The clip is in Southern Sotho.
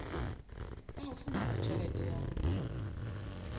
ya ho fumana tjhelete ya